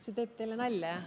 See teeb teile nalja, jah?